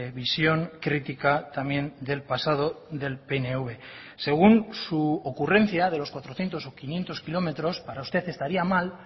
visión crítica también del pasado del pnv según su ocurrencia de los cuatrocientos ó quinientos kilómetros para usted estaría mal